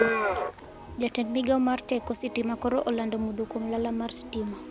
Jatend migao mar teko sitima koro olando mudho kuom lala mar stima